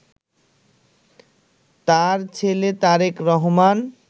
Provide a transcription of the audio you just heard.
তার ছেলে তারেক রহমান